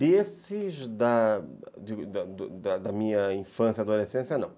Desses da minha infância, adolescência, não.